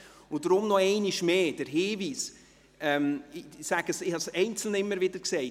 Deshalb einmal mehr der Hinweis – ich habe es zu einzelnen immer wieder gesagt: